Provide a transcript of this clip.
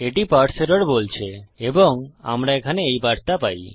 এটি parse error বলছে এবং আমরা এখানে এই বার্তা পাই